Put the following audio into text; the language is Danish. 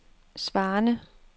svarende